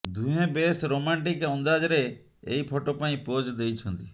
ଦୁହେଁ ବେଶ୍ ରୋମାଣ୍ଟିକ୍ ଅନ୍ଦାଜରେ ଏହି ଫଟୋ ପାଇଁ ପୋଜ୍ ଦେଇଛନ୍ତି